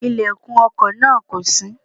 Ilẹ̀kùn ọkò náà kò ṣí